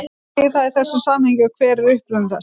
Hvað þýðir það í þessu samhengi og hver er uppruni þess?